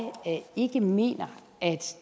ikke mener at